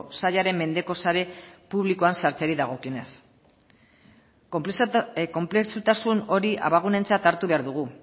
sailaren mendeko sare publikoan sartzeari dagokionez konplexutasun hori abagunetzat hartu behar dugu